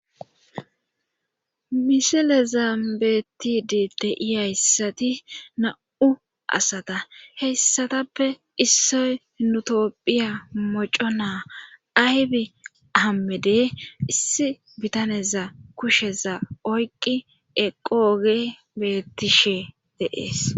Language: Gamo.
misile zaambeetidi de'iyayssayi nam7u asat in heyssatappe issoy nutophiya moco naa aybi hammede issi bitaneza kusheza oyqi eqooge bettishe de'ees